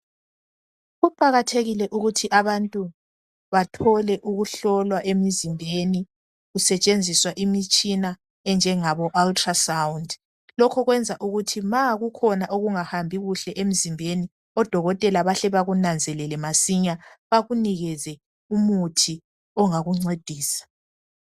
Kuqakathekile ukuthi abantu bathole ukuhlolwa emizimbeni kusetshenziswa imitshina enjengabo ultra sound lokhu kwenza ukuthi nxa kukhona okungahambi kuhle emzimbeni odokotela bahle bakunanzelele masinya bakunikeze umuthi ongakuncedisa.